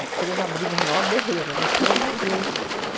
três abrimos o maior berreiro, né, porque nós nos vimos.